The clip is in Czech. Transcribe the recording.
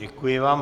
Děkuji vám.